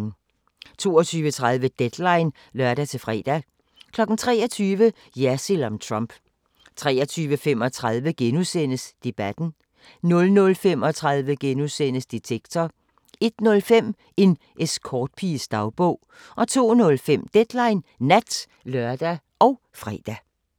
22:30: Deadline (lør-fre) 23:00: Jersild om Trump 23:35: Debatten * 00:35: Detektor * 01:05: En escortpiges dagbog 02:05: Deadline Nat (lør og fre)